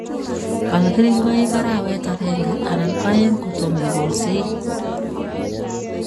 bal keringoik arawet agenge anan aeng' kotomo igolsei